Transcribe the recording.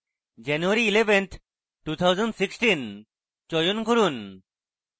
january 11th 2016 চয়ন করুন